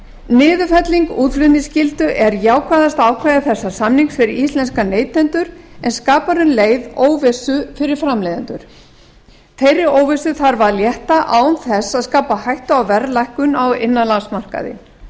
niðurfelling útflutningsskyldu er jákvæðasta ákvæði þessa samnings fyrir íslenska neytendur en skapar um leið óvissu fyrir framleiðendur þeirri óvissu þarf að létta án þess að skapa hættu á verðlækkun á innanlandsmarkaði